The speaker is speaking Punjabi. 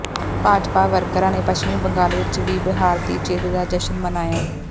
ਭਾਜਪਾ ਵਰਕਰਾਂ ਨੇ ਪੱਛਮੀ ਬੰਗਾਲ ਵਿੱਚ ਵੀ ਬਿਹਾਰ ਦੀ ਜਿੱਤ ਦਾ ਜਸ਼ਨ ਮਨਾਇਆ